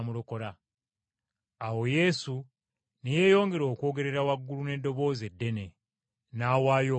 Awo Yesu ne yeeyongera okwogerera waggulu n’eddoboozi eddene, n’awaayo omwoyo gwe.